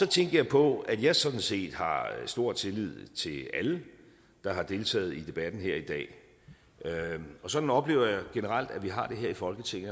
tænkte jeg på at jeg sådan set har stor tillid til alle der har deltaget i debatten her i dag og sådan oplever jeg generelt at vi har det her i folketinget